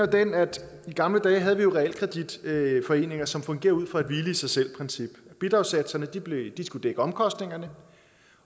den at i gamle dage havde vi realkreditforeninger som fungerede ud fra et hvile i sig selv princip bidragssatserne skulle dække omkostningerne